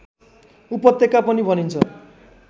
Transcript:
उपत्यका पनि भनिन्छ